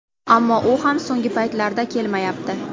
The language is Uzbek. Ammo u ham so‘nggi paytlarda kelmayapti.